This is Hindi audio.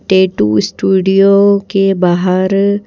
टैटू स्टूडियो के बाहर--